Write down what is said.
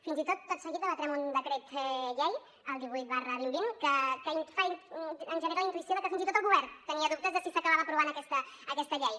fins i tot tot seguit debatrem un decret llei el divuit dos mil vint que ens genera la intuïció de que fins i tot el govern tenia dubtes de si s’acabava aprovant aquesta llei